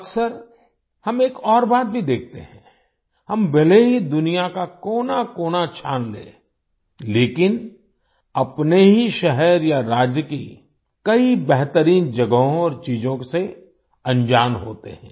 अक्सर हम एक और बात भी देखते हैं हम भले ही दुनिया का कोनाकोना छान लें लेकिन अपने ही शहर या राज्य की कई बेहतरीन जगहों और चीजों से अनजान होते हैं